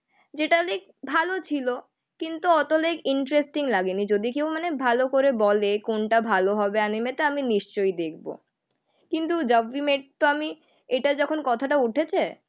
যেটা লেগ ভালো ছিল. কিন্তু অতলেগ ইন্টারেস্টিং লাগেনি. যদি কেউ মানে ভালো করে বলে কোনটা ভালো হবে. অ্যানিমেটা আমি নিশ্চয়ই দেখবো. কিন্তু জ্যাব উই মিট তো আমি এটা যখন কথাটা উঠেছে.